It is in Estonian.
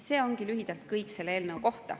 See ongi lühidalt kõik selle eelnõu kohta.